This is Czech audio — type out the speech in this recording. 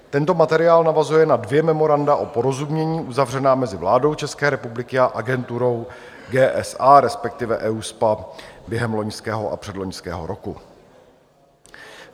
Tento materiál navazuje na dvě memoranda o porozumění uzavřená mezi vládou České republiky a agenturou GSA, respektive EUSPA, během loňského a předloňského roku.